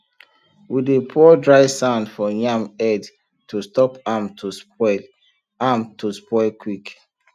we dey pour dry sand for yam head to stop am to spoil am to spoil quick